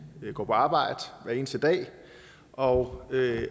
går på arbejde hver eneste dag og